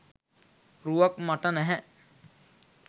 රුවක් මට නැහැ.